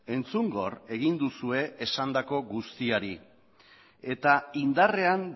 entzungor egin duzue esandako guztiari eta indarrean